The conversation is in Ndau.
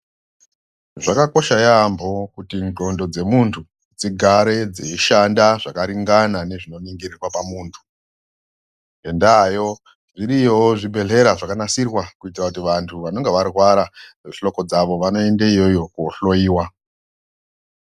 Zvakakosha yaambo kuti ndxondo dzemuntu dzigare dzeishanda zvakaringana nezvinoningirwa pamuntu. Ngendaayo zviriyowo zvibhedhlera zvakanasirwa kuita kuti vantu vanenge varwara ngehloko dzavo vanoende iyoyo koohloyiwa.